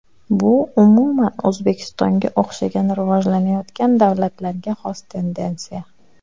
Bu umuman O‘zbekistonga o‘xshagan rivojlanayotgan davlatlarga xos tendensiya.